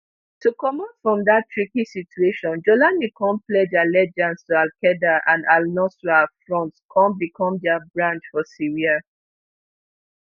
to comot from dat tricky situation jawlani come pledge allegiance to alqaeda and alnusra front come become dia branch for syria